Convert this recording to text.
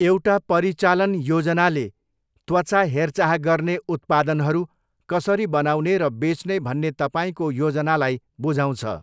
एउटा परिचालन योजनाले त्वचा हेरचाह गर्ने उत्पादनहरू कसरी बनाउने र बेच्ने भन्ने तपाईँको योजनालाई बुझाउँछ।